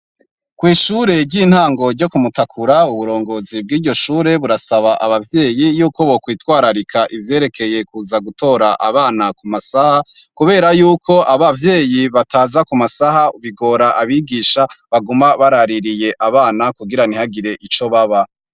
Kwishure ryintango ryo kumutakura uburongozi bwiryo shure burasaba abavyeyi yuko bokwitwararika ivyerekeye kuza gutora abana kumasaha kubera yuko abavyeyi bataza kumasaha bigora abigisha baguma baraririye abana kugire ntihagire ico baba.